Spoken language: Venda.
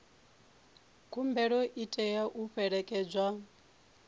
khumbelo i tea u fhelekedzwa